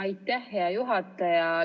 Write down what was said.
Aitäh, hea juhataja!